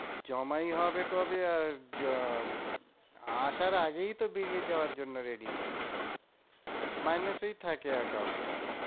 জমাই হবে কবে আর আসার আগেই তো বেরিয়ে যাবার জন্য ready থাকে। মাইনে তেই থাকে account টা।